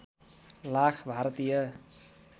lakh Bharatiya